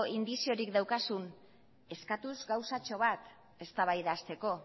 indiziorik daukazun eskatuz gauzatxo bat eztabaida hasteko